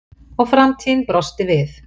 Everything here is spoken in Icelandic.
Og framtíðin brosti við.